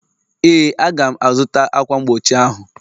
Ee, Aga m-azụta ákwà mgbochi ahụ